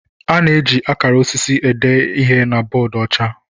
A na-eji akara osisi ede ihe na bọọdụ ọcha.